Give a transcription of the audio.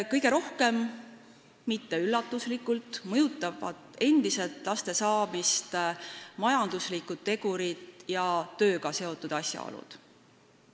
Kõige rohkem – mitte üllatuslikult – mõjutavad laste saamist endiselt majanduslikud tegurid ja tööga seotud asjaolud.